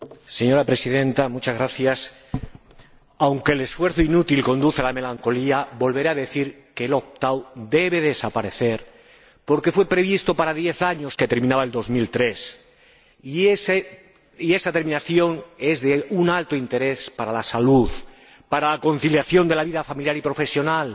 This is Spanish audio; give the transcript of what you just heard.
Señora Presidenta, aunque el esfuerzo inútil conduce a la melancolía, volveré a decir que el debe desaparecer, porque fue previsto para diez años, que terminaban en 2003, y esa terminación es de un alto interés para la salud, para la conciliación de la vida familiar y profesional,